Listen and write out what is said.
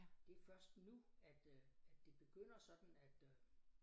Det først nu at øh at det begynder sådan at øh